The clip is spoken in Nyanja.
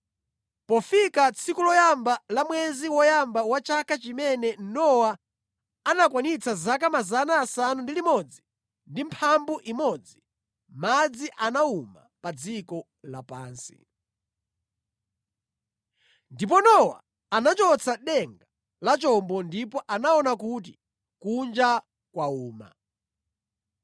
Pofika tsiku loyamba la mwezi woyamba wa chaka chimene Nowa anakwanitsa zaka 601, madzi anawuma pa dziko lapansi. Ndipo Nowa anachotsa denga la chombo ndipo anaona kuti kunja kwawuma.